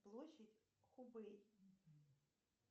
площадь хубэй